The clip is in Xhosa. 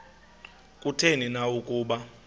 kutheni na ukuba